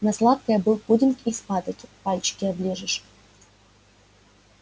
на сладкое был пудинг из патоки пальчики оближешь